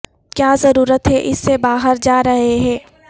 کیا ضرورت ہے اس سے باہر جا رہے ہیں